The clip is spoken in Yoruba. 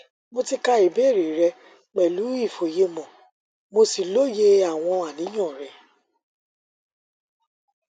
mo ti ka ìbéèrè rẹ pẹlú ìfòyemò mo sì lóye àwọn àníyàn rẹ